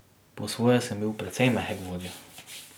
Po svoje sem bil precej mehek vodja.